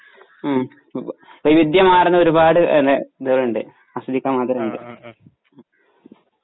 ഉം വൈവിദ്ത്യമാർന്ന ഒരുപാട് അതെ ഇതുണ്ട് ആസ്വദിക്കാൻ മാത്രമുണ്ട്